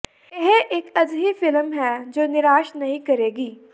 ਇਹ ਇੱਕ ਅਜਿਹੀ ਫਿਲਮ ਹੈ ਜੋ ਨਿਰਾਸ਼ ਨਹੀਂ ਕਰੇਗੀ